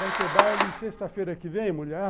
Vai ter baile sexta-feira que vem, mulher?